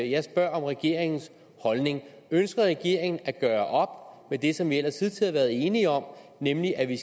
jeg spørger om regeringens holdning ønsker regeringen at gøre med det som vi ellers hidtil har været enige om nemlig at vi